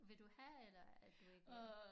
Vil du have eller er du ikke